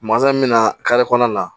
min bɛ na kɔnɔna na